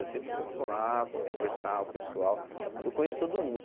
Eu sempre vou colar para conversar com o pessoal, porque eu conheço todo mundo.